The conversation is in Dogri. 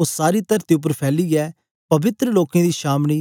ओ सारी तरती उपर फैलीयै पवित्र लोकें दी छावनी